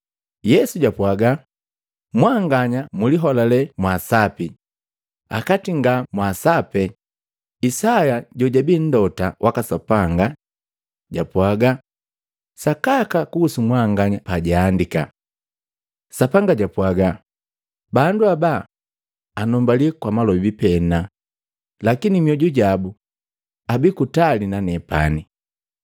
Yesu japwaaga, “Mwanganya mliholale mwaasapi akati nga mwasaape Isaya jojabii Mlota waka Sapanga japwaga sakaka kunhusu mwanganya pajaandika, ‘Sapanga japwaga, bandu haba, anumbali kwa malobi pena, lakini mmyoju jabu, abii kutali na nenepani.